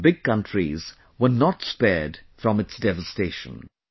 Even big countries were not spared from its devastation